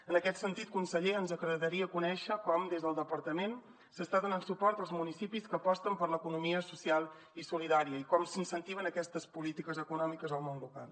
en aquest sentit conseller ens agradaria conèixer com des del departament s’està donant suport als municipis que aposten per l’economia social i solidària i com s’incentiven aquestes polítiques econòmiques al món local